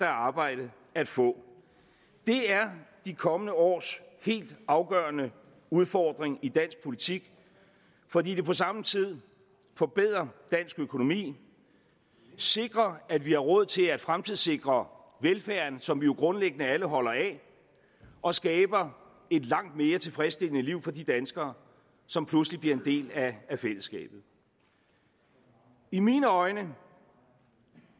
arbejde at få det er de kommende års helt afgørende udfordring i dansk politik fordi det på samme tid forbedrer dansk økonomi sikrer at vi har råd til at fremtidssikre velfærden som vi jo grundlæggende alle holder af og skaber et langt mere tilfredsstillende liv for de danskere som pludselig bliver en del af fællesskabet i mine øjne